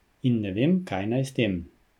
In ne vem, kaj naj s tem.